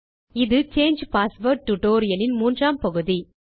இது change password tutorial இன் மூன்றாம் பகுதி